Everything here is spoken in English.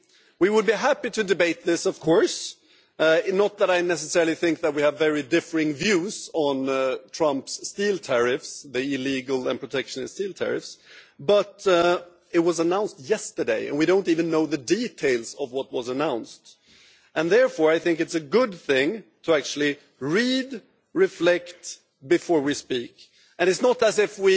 We would be happy to debate this, of course not that I necessarily think that we have very differing views on Trump's illegal and protectionist steel tariffs but it was announced yesterday, and we don't even know the details of what was announced. Therefore, I think it's a good thing to actually read and reflect before we speak. It's not as if